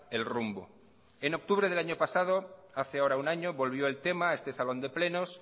el rumbo en octubre del año pasado hace ahora un año volvió el tema a este salón de plenos